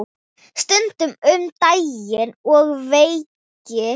Stundum um daginn og veginn.